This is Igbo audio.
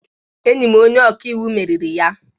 Enyi m onye ọka iwu meriri ya.